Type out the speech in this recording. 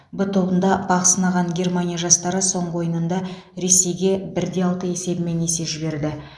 в тобында бақ сынаған германия жастары соңғы ойынында ресейге бір де алты есебімен есе жіберді